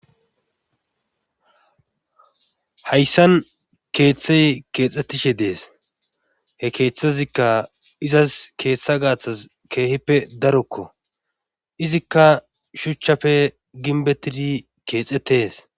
Hayssan keethay keexetishe dees. he keethazikka izas keeththa gaathas keehippe darokko izikka shuchappe gimbetidi keexetees.